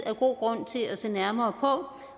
er god grund til at se nærmere på